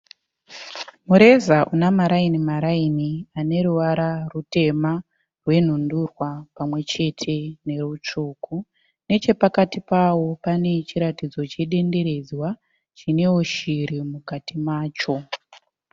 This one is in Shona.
Mureza una marairaini ane ruvara ruteme, rwenhu ndurwa pamwe chete neutemeutsvuku. Neche pakati pawo pane chiratidzo chedendererwa chinewo shiri mukati macho .